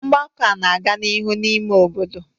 Ngbako a na-aga n'ihu n'ime obodo